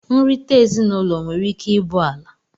nrita ezinụlọ nwere ike ibụ ala.